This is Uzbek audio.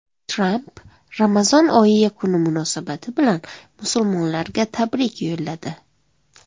Tramp Ramazon oyi yakuni munosabati bilan musulmonlarga tabrik yo‘lladi.